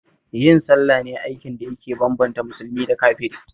Yin sallah ne aikin da yake bambanta musulmi da kafiri